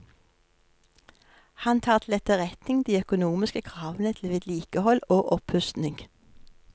Han tar til etterretning de økonomiske kravene til vedlikehold og oppustning.